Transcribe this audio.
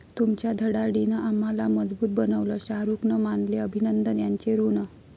तुमच्या धडाडीनं आम्हाला मजबूत बनवलं, शाहरुखनं मानले अभिनंदन यांचे ऋण